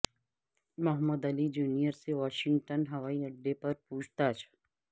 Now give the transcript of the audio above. محمد Ali junior سے Washington ہوائی اڈے پر پوچھ تاچھ